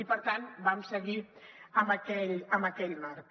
i per tant vam seguir amb aquell marc